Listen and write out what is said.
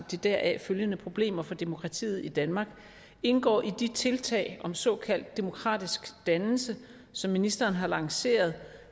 de deraf følgende problemer for demokratiet i danmark indgår i de tiltag om såkaldt demokratisk dannelse som ministeren har lanceret